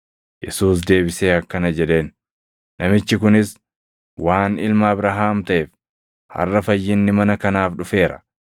Yesuus deebisee akkana jedheen; “Namichi kunis waan ilma Abrahaam taʼeef, harʼa fayyinni mana kanaaf dhufeera.